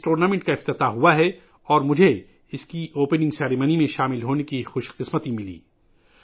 یہ ٹورنامنٹ 28 جولائی کو شروع ہوا ہے اور مجھے اس کی افتتاحی تقریب میں شرکت کا شرف حاصل ہوا